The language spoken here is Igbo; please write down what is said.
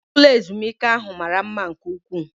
Ụlọ ezumike ahụ mara mma nke ụkwụ